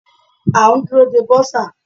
A ń dúró de bursar.